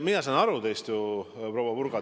Mina saan teist ju aru, proua Purga.